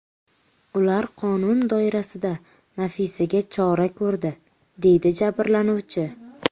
Ular qonun doirasida Nafisaga chora ko‘rdi”, – deydi jabrlanuvchi.